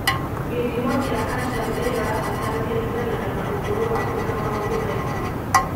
Gĩthimo kĩa calcium ĩrĩa ũrabatara kĩringanaga na ũkũrũ waku na maũndũ mangĩ.